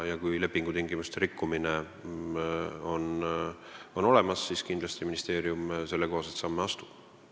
Kui lepingutingimusi on rikutud, siis ministeerium kindlasti sellekohaseid samme astub.